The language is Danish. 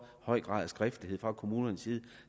høj grad af skriftlighed fra kommunens side